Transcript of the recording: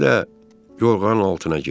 İndi də yorğanın altına gir.